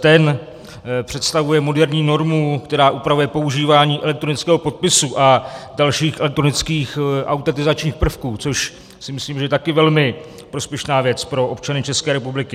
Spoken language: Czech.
Ten představuje moderní normu, která upravuje používání elektronického podpisu a dalších elektronických autentizačních prvků, což si myslím, že je taky velmi prospěšná věc pro občany České republiky.